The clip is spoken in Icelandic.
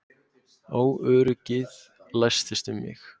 Óöryggið læstist um mig.